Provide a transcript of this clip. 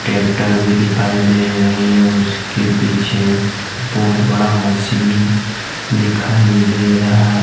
एक डर्बी दिखाई दे रही है उसके पीछे बहुत बड़ा मशीन दिखाई दे रहा है।